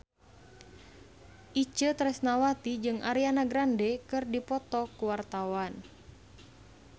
Itje Tresnawati jeung Ariana Grande keur dipoto ku wartawan